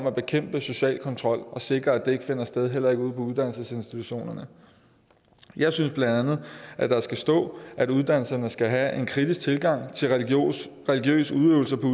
at bekæmpe social kontrol og sikre at det ikke finder sted heller ikke ude på uddannelsesinstitutionerne jeg synes bla at der skal stå at uddannelserne skal have en kritisk tilgang til religiøs udøvelse på